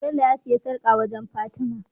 Bello ya siya sarƙa wajan fatima